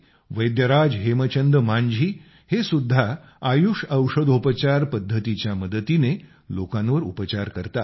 वैद्यराज हेमचंद मांझी हे सुद्धा आयुष औषधोपचार पद्धतीच्या मदतीने लोकांवर उपचार करतात